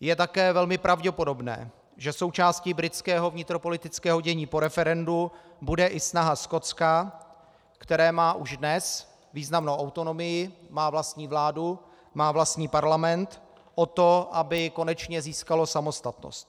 Je také velmi pravděpodobné, že součástí britského vnitropolitického dění po referendu bude i snaha Skotska, které má už dnes významnou autonomii, má vlastní vládu, má vlastní parlament, o to, aby konečně získalo samostatnost.